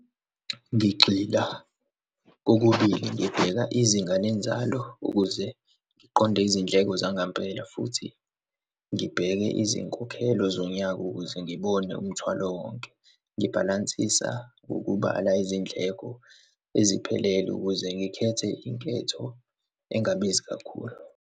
Ngigxila kokubili, ngibheka izinga lenzalo ukuze ngiqonde izindleko zangempela, futhi ngibheke izinkokhelo zonyaka ukuze ngibone umthwalo wonke, ngibhalansisa ukubala izindleko eziphelele ukuze ngikhethe inketho engabizi kakhulu.